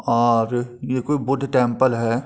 और ये कोई बुद्ध टेम्पल है।